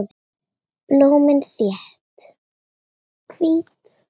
Blómin þétt, hvít.